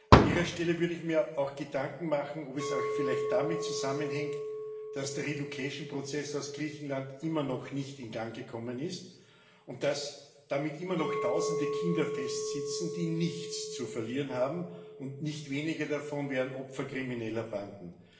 An Ihrer Stelle würde ich mir auch Gedanken machen, ob es auch vielleicht damit zusammenhängt, dass der Umsiedlungsprozess aus Griechenland immer noch nicht in Gang gekommen ist und dass so immer noch tausende Kinder fest sitzen, die nichts zu verlieren haben, und nicht wenige davon werden Opfer krimineller Banden.